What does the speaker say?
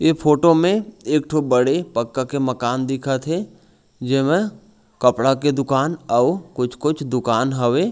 इ फोटो में एक ठो बड़े पक्का के मकान दिखथे जेमे कपड़ा के दुकान अओ कुछ - कुछ दुकान हवे।